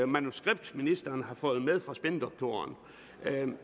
manuskript ministeren har fået med fra spindoktoren jeg vil